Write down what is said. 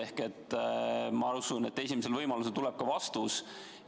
Aga ma usun, et esimesel võimalusel tuleb ka vastus.